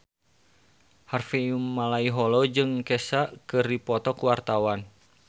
Harvey Malaiholo jeung Kesha keur dipoto ku wartawan